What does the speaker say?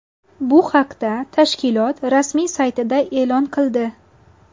Bu haqda tashkilot rasmiy saytida e’lon qildi.